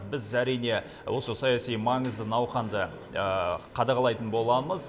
біз әрине осы саяси маңызы науқанды қадағалайтын боламыз